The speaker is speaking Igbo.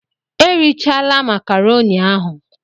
Erechala makaroni ahun!